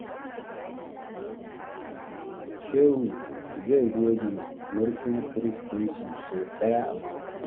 Shehu zai goge murfin firij ɗinsu sau ɗaya a mako.